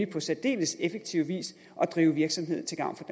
på særdeles effektiv vis at drive virksomhed til gavn for